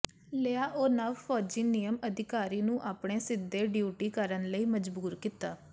ਲਿਆ ਉਹ ਨਵ ਫੌਜੀ ਨਿਯਮ ਅਧਿਕਾਰੀ ਨੂੰ ਆਪਣੇ ਸਿੱਧੇ ਡਿਊਟੀ ਕਰਨ ਲਈ ਮਜਬੂਰ ਕੀਤਾ